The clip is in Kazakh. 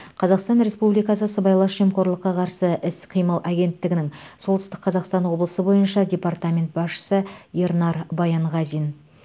қазақстан республикасы сыбайлас жемқорлыққа қарсы іс қимыл агенттігінің солтүстік қазақстан облысы бойынша департамент басшысы ернар баянғазин